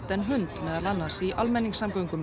en hund meðal annars í almenningssamgöngum